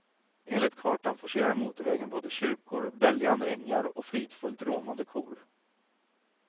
Enligt kartan forcerar motorvägen både kyrkor, böljande ängar och fridfullt råmande kor.